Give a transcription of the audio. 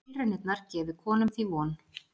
Tilraunirnar gefi konum því von